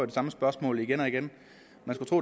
det samme spørgsmål igen og igen